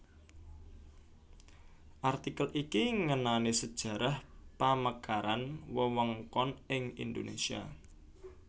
Artikel iki ngenani sajarah pamekaran wewengkon ing Indonesia